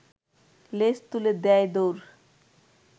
লেজ তুলে দেয় দৌড়